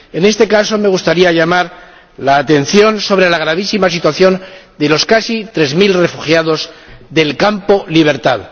En este caso, me gustaría llamar la atención sobre la gravísima situación de los casi tres mil refugiados del campo Libertad.